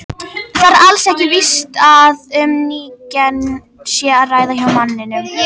Það er alls ekki víst að um ný gen sé að ræða hjá manninum.